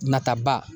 Nataba